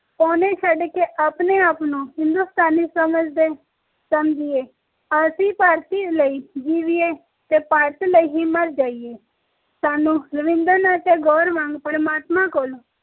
ਪੌਣੇ ਛੱਡ ਕੇ ਆਪਣੇ ਆਪ ਨੂੰ ਹਿੰਦੁਸਤਾਨੀ ਸਮਝੀਏ ਅਸੀਂ ਭਾਰਤ ਲਈ ਹੀ ਜੀਵੀਏ ਤੇ ਭਾਰਤ ਲਈ ਹੀ ਮਰ ਜਾਈਏ ਸਾਨੂ ਰਵਿੰਦਰ ਨਾਥ ਟੈਗੋਰ ਵਾਂਗ ਪਰਮਾਤਮਾ ਕੋਲ